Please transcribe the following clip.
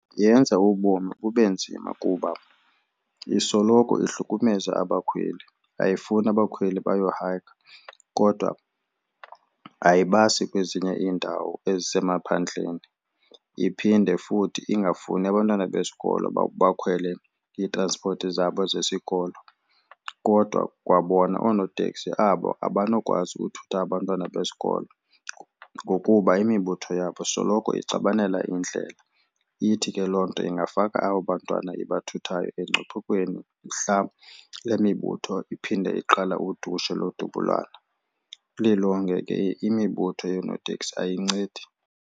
Yenza ubomi bube nzima kuba isoloko ihlukumezeka abakhweli, ayifuni abakhweli bayohayikha kodwa ayibasi kwezinye iindawo ezisemaphandleni. Iphinde futhi ingafuni abantwana besikolo uba bakhwele iitranspoti zabo zesikolo. Kodwa kwabona oonoteksi abo abanokwazi uthutha abantwana besikolo ngokuba imibutho yabo soloko ixabanela indlela. Ithi ke loo nto ingafaka abo bantwana ibathuthayo engcuphekweni mhlawumbi le mibutho iphinde iqala udushe lodubulana. Lilonke ke imibutho yoonoteksi ayincedi.